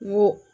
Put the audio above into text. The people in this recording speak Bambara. N ko